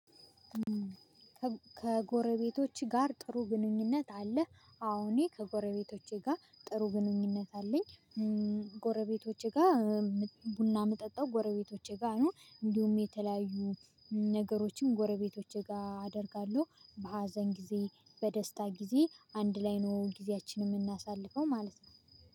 ከጎረቤቶቸ ጋር ጥሩ ግንኙነት አለህ? አወ እኔ ከጎረቤቶቼ ጋር ጥሩ ግንኙነት አለኝ። ጎረቤቶቸ ጋር ቡና እምጠጣው ጎረቤቶቼ ጋር ነው። እንዲሁም የተለያዩ ነገሮችን ጎረቤቶች ጋር አደርጋለሁ። በሀዘን ጊዜ በደስታ ጊዜ አንድላይ ነው ጊዜያችንን የምናሳልፈው ማለት ነው።